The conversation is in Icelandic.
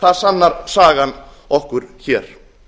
það sannar sagan okkur hér